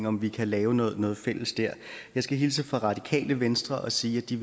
om vi kan lave noget noget fælles jeg skal hilse fra radikale venstre og sige at de